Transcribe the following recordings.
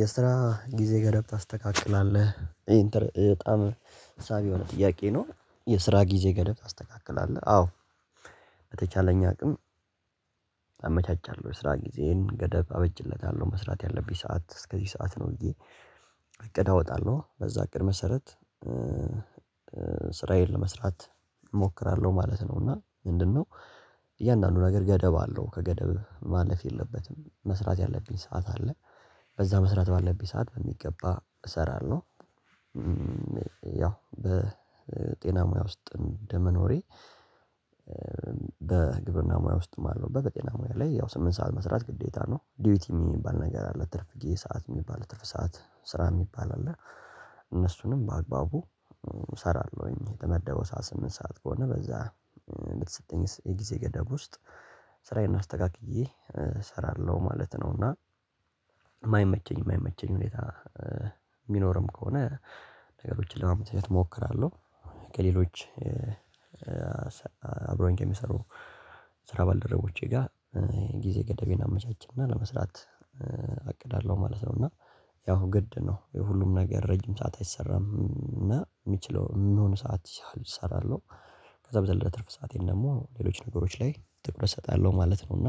የስራ ጊዜ ገደብ ታስተካክላለህ? ይሄን በጣም ሳቢ የሆነ ጥያቄ ነው የስራ ጊዜ ገደብ ታስተካክላለህ? አዎ። በተቻለኝ አቅም አመቻቻለሁ የስራ ጊዜየን ገደብ አበጅለታለሁ መስራት ያለብኝ ሰዓት እስከዚህ ሰዓት ነው ብዬ እቅድ አወጣለሁ በዛ እቅድ መሰረት ስራዬን ለመስራት እሞክራለሁ ማለት ነው። እና ምንድነው? እያንዳንዱ ነገር ገደብ አለው ከገደብ ማለፍ የለበትም መስራት ያለብኝ ሰዓት አለ በዛ መስራት ባለብኝ ሰዓት በሚገባ እሰራለሁ። ያው በጤና ሙያ ውስጥ እንደመኖሬ በግብርና ሙያ ውስጥም አለው በጤና ሙያ ላይ ያው ስምንት ሰዓት መስራት ግዴታ ነው ዲዩቲ የሚባል ነገር አለ ትርፍት ሰዓት የሚባል የትርፍ ሰዓት ስራ የሚባል አለ። እነሱንም በአግባቡ እሰራለሁኝ የተመደበው ሰዓት ስምንት ሰዓት ከሆነ በዛ በተሰጠኝ የጊዜ ገደብ ውስጥ ስራዬን አስተካክዬ እሰራለሁ ማለት ነው። እና የማይመቸኝ የማይመቸኝ ሁኔታ የሚኖርም ከሆነ ነገሮችን ለማመቻቸት እሞክራለሁ እሞክራለሁ። ከሌሎች አብሮኝ ከሚሰሩ የስራ ባልደረቦቼ ጋር ጊዜ ገደቤን አመቻችና ለመስራት አቅዳለሁ ማለት ነው። እና ያው ግድ ነው ሁሉም ነገር ረጅም ሰዓት አይሰራም እና የሚችለው የሚሆን ሰዓት ይሰራሉ። ከዛ በዘለለ ትርፍ ሰአቴን ደግሞ ሌሎች ነገሮች ላይ ጥቁር እሰጣለሁ ማለት ነው። እና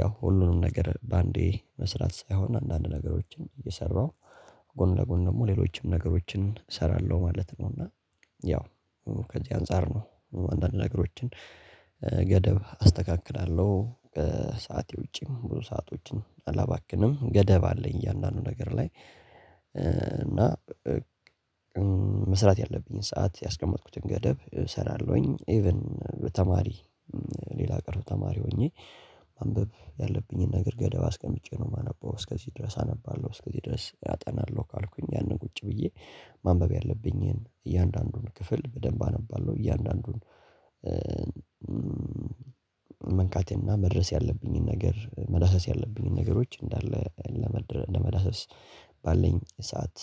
ያው ሁሉንም ነገር በአንዴ መስራት ሳይሆን አንዳንድ ነገሮችን እየሰራሁ ጎን ለጎን ደግሞ ሌሎችም ነገሮችን እሰራለሁ ማለት ነው። እና ያው ከዚህ አንፃር ነው አንዳንድ ነገሮችን ገደብ አስተካክላለሁ። ሰዓቴ ውጪም ብዙ ሰአቶችን አላባክንም ገደብ አለኝ እያንዳንዱ ነገር ላይ እና ያለብኝን ሰዓት ያስቀመጥኩትን ገደብ እሰራለሁኝ። ኢቭን በተማሪ ሌላ ቀርቶ ተማሪ ሆኜ ማንበብ ያለብኝን ነገር ገደብ አስቀምጬ ነው የማነበው እስከዚህ ድረስ አነባለሁ እስከዚህ ድረስ ያጠናለሁ። ካልኩኝ ያንን ቁጭ ብዬ ማንበብ ያለብኝን እያንዳንዱን ክፍል በደንብ አነባለሁ። እያንዳንዱን መንካትና መድረስ ያለብኝን ነገር መዳሰስ ያለብኝን ነገሮች እንዳለ ለመዳሰስ ባለኝ ሰዓት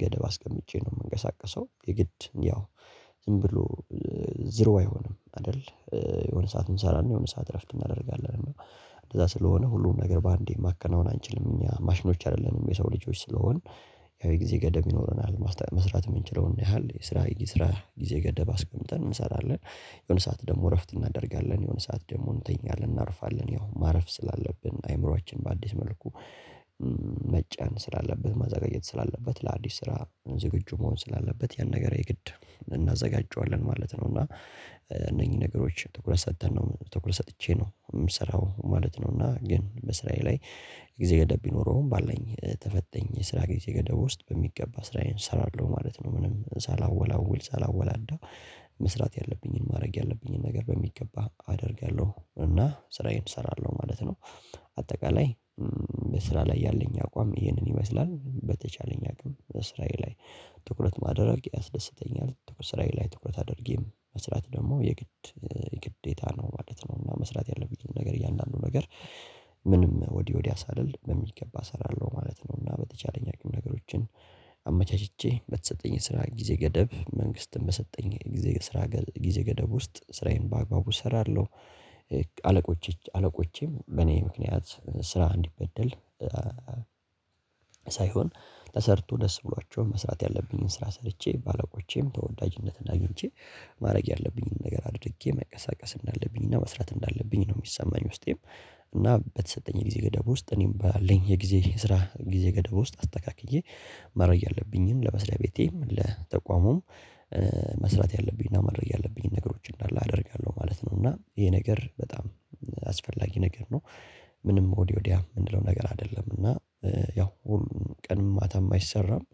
ገደብ አስቀምጬ ነው የምንቀሳቀሰው። የግድ ያው ዝም ብሎ ዜሮ አይሆንም አይደል የሆነ ሰዓት እንሰራለን የሆነ ሰዓት እረፍት እናደርጋለን። እና እንደዛ ስለሆነ ሁሉም ነገር በአንዴ ማከናወን አንችልም እኛ ማሽኖች አይደለንም የሰው ልጆች ስለሆንን ያው የጊዜ ገደብ ይኖረናል። መስራት የምንችለውን ያህል የስራ የስራ ጊዜ ገደብ አስቀምጠን እንሰራለን። የሆነ ሰዓት ደግሞ እረፍት እናደርጋለን የሆነ ሰዓት ደግሞ እንተኛለን እናርፋለን ያው ማረፍ ስላለብን አይምሮአችን በአዲስ መልኩ መጫን ስላለበት ማዘጋጀት ስላለበት ለአዲስ ስራ ዝግጁ መሆን ስላለበት ያን ነገር የግድ እናዘጋጃለን ማለት ነው። እና እነኚህ ነገሮች ትኩረት ሰጥተን ነው ትኩረት ሰጥቼ ነው የምሰራው ማለት ነው። ግን በስራዬ ላይ ጊዜ ገደብ ቢኖረውም ባለኝ የተፈተኝ የስራ ጊዜ ገደብ ውስጥ በሚገባ ስራዬን እሰራለሁ ማለት ነው። ምንም ሳላወላውል ሳላወላዳ መስራት ያለብኝን ማድረግ ያለብኝን ነገር በሚገባ አደርጋለሁ እና ስራዬን እሰራለሁ ማለት ነው። አጠቃላይ በስራ ላይ ያለኝ አቋም ይህንን ይመስላል። በተቻለኝ አቅም ስራዬ ላይ ትኩረት ማድረግ ያስደስተኛል ስራዬ ላይ ትኩረት አድርጌም መስራት ደግሞ የግድ የግዴታ ነው ማለት ነው። እና መስራት ያለብኝን ነገር እያንዳንዱ ነገር ምንም ወዲህ ወዲህ አሳልል በሚገባ እሰራለሁ ማለት ነው። እና በተቻለኝ አቅም ነገሮችን አመቻችቼ በተሰጠኝ ስራ ጊዜ ገደብ መንግስትን በሰጠኝ ጊዜ ስራ ጊዜ ገደብ ውስጥ ስራዬን በአግባቡ እሰራለሁ። አለቆችም በእኔ ምክንያት ስራ እንዲበደል ሳይሆን ተሰርቶ ደስ ብሏቸው መስራት ያለብኝን ስራ ሰርቼ ባለቆቼም ተወዳጅነትና አግንቼ ማድረግ ያለብኝን ነገር አድርጌ መቀሳቀስ እንዳለብኝ እና መስራት እንዳለብኝ ነው የሚሰማኝ። በውስጤም እና በተሰጠኝ ጊዜ ገደብ ውስጥ እኔም ባለኝ የጊዜ ስራ ጊዜ ገደብ ውስጥ አስተካክዬ መረጃ ያለብኝን ለመስርያለቤቴም ለተቋሙም መስራት ያለብኝና ማድረግ ያለብኝ ነገሮች እንዳለ አደርጋለሁ ማለት ነው። እና ይሄ ነገር በጣም አስፈላጊ ነገር ነው። ምንም ወዲያ ወዲያ የምንለው ነገር አይደለም እና ያው ቀን ማታ አይሰራም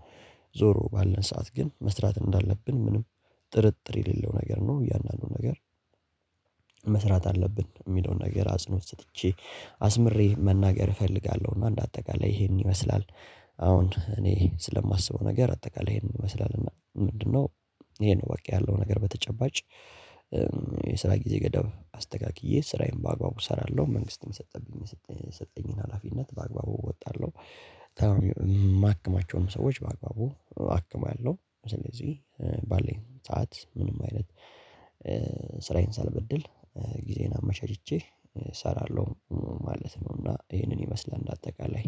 ዞሮ ባለን ሰዓት ግን መስራት እንዳለብን ምንም ጥርጥር የሌለው ነገር ነው። እያንዳንዱ ነገር መስራት አለብን የሚለውን ነገር አጽንኦት ሰጥቼ አስምሬ መናገር እፈልጋለሁ እና እንደ አጠቃላይ ይሄንን ይመስላል። አሁን እኔ ስለማስበው ነገር አጠቃላይ ይሄንን ይመስላል እና ምንድነው? ይሄን ነው በቃ ያለው ነገር በተጨባጭ የስራ ጊዜ ገደብ አስተካክዬ ስራዬን በአግባቡ እሰራለሁ መንግስትም የሰጠብኝ የሰጠኝን ሀላፊነት በአግባቡ እወጣለሁ። የማከማቸውንም ሰዎች በአግባቡ አክማለሁ ስለዚህ ባለኝ ሰዓት ምንም አይነት ስራዬን ሳልበድል ጊዜዬን አመቻችቼ እሰራለሁ ማለት ነው። እና ይህንን ይመስላል እንደ አጠቃላይ